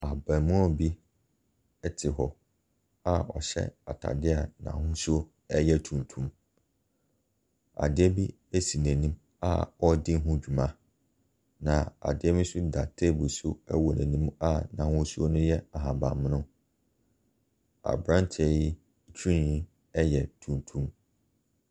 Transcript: Abarimaa bi te hɔ a ɔhyɛ atadeɛ a n'ahosuo yɛ tuntum. Adeɛ bi sin'anim a ɔredi ho dwuma, na adeɛ bi nso da table so wɔ n'anim a n'ahosuo no hyɛ ahabammono. Aberanteɛ yi twene yi yɛ tuntum.